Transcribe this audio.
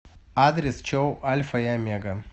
адрес чоу альфа и омега